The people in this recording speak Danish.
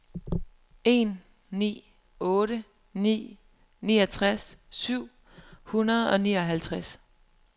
en ni otte ni niogtres syv hundrede og nioghalvtreds